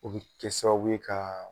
O bi kɛ sababu ye ka